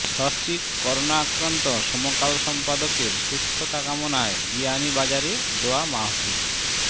সস্ত্রীক করোনাক্রান্ত সমকাল সম্পাদকের সুস্থতা কামনায় বিয়ানীবাজারে দোয়া মাহফিল